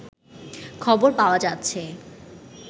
খবর পাওয়া যাচ্ছে